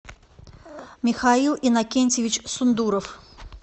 михаил иннокентьевич сундуров